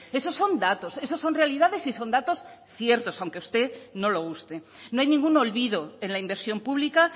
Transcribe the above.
eso son datos esos son realidades y son datos ciertos aunque a usted no le guste no hay ningún olvido en la inversión pública